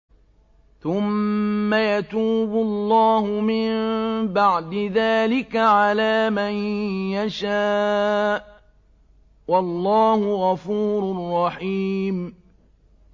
ثُمَّ يَتُوبُ اللَّهُ مِن بَعْدِ ذَٰلِكَ عَلَىٰ مَن يَشَاءُ ۗ وَاللَّهُ غَفُورٌ رَّحِيمٌ